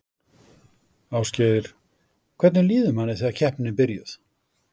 Ásgeir: Hvernig líður manni þegar keppnin er byrjuð?